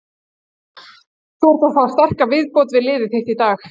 Þú ert að fá sterka viðbót við liðið þitt í dag?